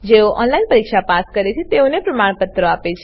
જેઓ ઓનલાઈન પરીક્ષા પાસ કરે છે તેઓને પ્રમાણપત્રો આપે છે